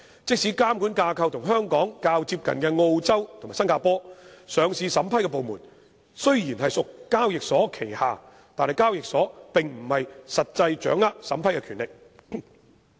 即使監管架構與香港較接近的澳洲及新加坡，當地的上市審批部門雖然屬交易所旗下，但當地的交易所並不實際掌握審批權力。